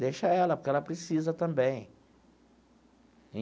Deixa ela, porque ela precisa também.